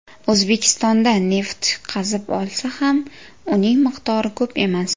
O‘zbekistonda neft qazib olsa ham, uning miqdori ko‘p emas.